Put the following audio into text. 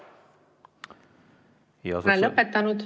Ma olen lõpetanud.